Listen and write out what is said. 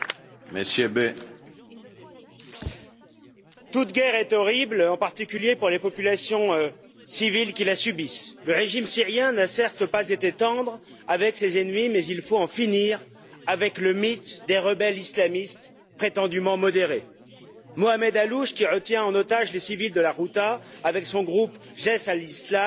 Monsieur le Président, toute guerre est horrible, en particulier pour les populations civiles qui la subissent. Le régime syrien n'a certes pas été tendre avec ses ennemis, mais il faut en finir avec le mythe des rebelles islamistes modérés. Mohammed Allouche, qui retient en otage les civils de la Ghouta avec son groupe Jaïch al Islam,